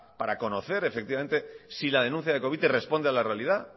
para conocer efectivamente si la denuncia de covite responde a la realidad